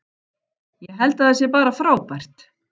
Ég held að það sé bara frábært.